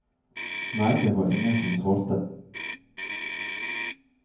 Nei, det var ingen som svarte.